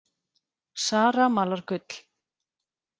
Zara malar gull